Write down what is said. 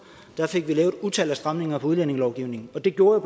fik vi lavet et utal af stramninger i udlændingelovgivningen og det gjorde